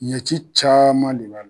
Ɲɛci caman de la.